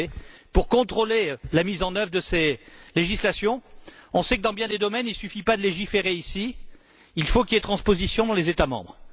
En effet, pour contrôler la mise en œuvre de ces législations, on sait que, dans bien des domaines, il ne suffit pas de légiférer ici, il faut qu'il y ait transposition dans les États membres.